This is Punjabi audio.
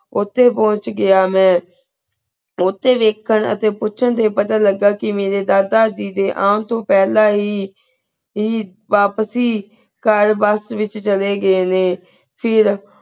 ਓਤੇ ਪਹੁੰਚ ਗਯਾ ਮੈਂ ਓਤੇ ਵਾਯ੍ਖਾਂ ਆ ਤੇ ਪੁਚਾਣ ਦੇ ਪਤਾ ਲੱਗਾ ਕੇ ਕਿਵੇ ਦੇ ਦਾਦਾ ਜੀ ਦੇ ਆਮ ਤੋ ਪਹਲਾ ਹੀ ਹੀ ਵਾਪਸੀ ਕਰ bus ਵਿਚ ਚਲੀ ਗੇ ਨੇ ਫਿਰ